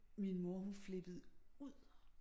Min mor hun flippede ud